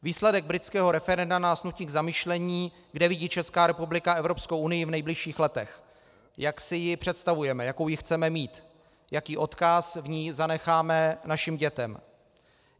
Výsledek britského referenda nás nutí k zamyšlení, kde vidí Česká republika Evropskou unii v nejbližších letech, jak si ji představujeme, jakou ji chceme mít, jaký odkaz v ní zanecháme našim dětem.